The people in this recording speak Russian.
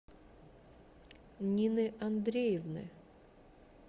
нины андреевны